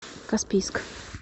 каспийск